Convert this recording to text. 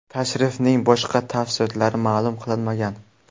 Tashrifning boshqa tafsilotlari ma’lum qilinmagan.